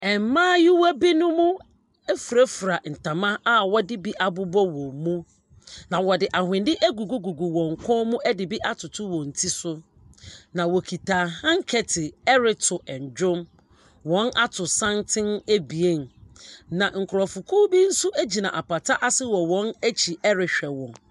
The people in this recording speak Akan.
Mmaayewa bi no mo ɛfirefira ntama a wɔde bi abobɔ wɔn mu. Na wɔde awhende ɛgugugugu wɔn kɔn mu ɛde bi atoto wɔn tiri so. Na ɔkuta handkerchief ɛreto ɛnnwom. Wɔn ato santen ebien. Na nkorɔfoku bi nso gyina apataase wɔ wɔn ɛkyi ɛrehwɛ wɔn.